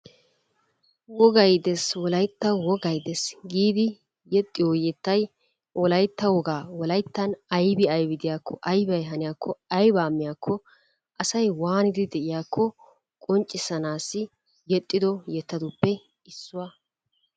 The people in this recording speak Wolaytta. Wogay de'es wolaytawu wogay de'es giddi yexiyo yettay wolaytta wogaa, wolayttan aybi de'iyako ,aybay haniyakko, aybba miyakko, asay wanidi de'iyaakko qonccissanaassi yexxido yettatuppe issuwa.